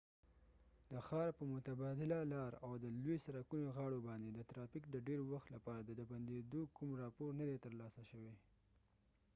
د ښار په متبادله لار او د لوي سرکونو غاړو باندي د ترافیک د ډیر وخت لپاره د بنديدو کوم راپور نه دي تر لاسه شوي